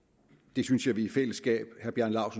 det synes jeg vi i fællesskab